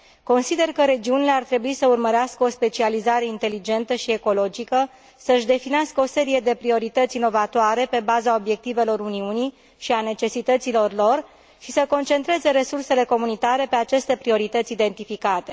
Consider că regiunile ar trebui să urmărească o specializare inteligentă și ecologică, să își definească o serie de priorități inovatoare, pe baza obiectivelor Uniunii și a necesităților lor, și să concentreze resursele comunitare pe aceste priorități identificate.